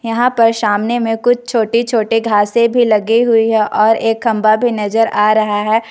यहां पर सामने में कुछ छोटे छोटे घासें भी लगी हुई है और एक खंभा भी नजर आ रहा है।